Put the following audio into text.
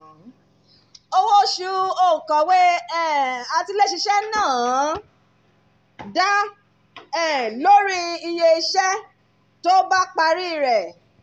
owó oṣù òǹkọ̀wé um àtiléṣiṣẹ́ náà dá um lórí iye iṣẹ́ tó bá parí rẹ̀